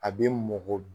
A bɛ mɔkɔ